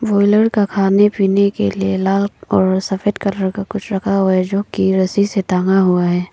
खाने पीने के लिए लाल और सफेद कलर का कुछ रखा हुआ है जो की रस्सी से टांगा हुआ है।